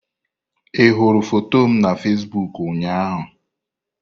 Ị hụrụ foto m na Fesiboku ụnyaahụ?